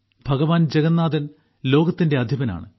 ഭഗവാൻ ജഗന്നാഥൻ ലോകത്തിന്റെ അധിപനാണ്